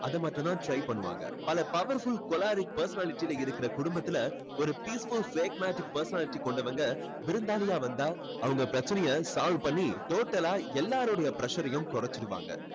அதை மட்டும் தான் try பண்ணுவாங்க பல powerful choleric personality இருக்கிற குடும்பத்தில ஒரு peaceful phlegmatic personality கொண்டவங்க விருந்தாளியா வந்தா அவங்க பிரச்சனையை solve பண்ணி total ஆ எல்லாருடைய pressure யும் குறைச்சிடுவாங்க.